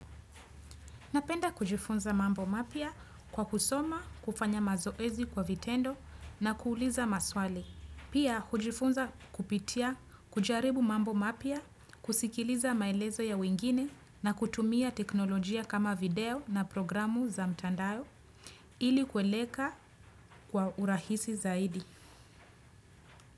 Napenda kujifunza mambo mapya kwa kusoma, kufanya mazoezi kwa vitendo na kuuliza maswali. Pia kujifunza kupitia, kujaribu mambo mapya, kusikiliza maelezo ya wengine na kutumia teknolojia kama video na programu za mtandao ili kueleka kwa urahisi zaidi.